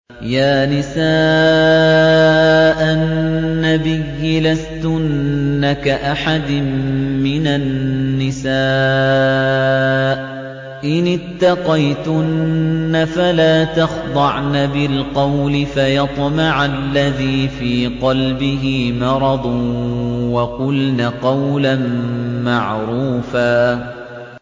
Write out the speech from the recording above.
يَا نِسَاءَ النَّبِيِّ لَسْتُنَّ كَأَحَدٍ مِّنَ النِّسَاءِ ۚ إِنِ اتَّقَيْتُنَّ فَلَا تَخْضَعْنَ بِالْقَوْلِ فَيَطْمَعَ الَّذِي فِي قَلْبِهِ مَرَضٌ وَقُلْنَ قَوْلًا مَّعْرُوفًا